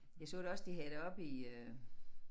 Jeg så da også de havde det oppe i øh